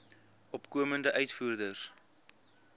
opkomende uitvoerders